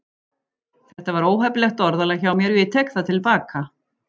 Þetta var óheppilegt orðalag hjá mér og ég tek það til baka.